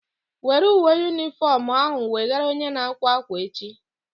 Were uwe shifọnu ahu wegara onye na-akwa ákwà echi!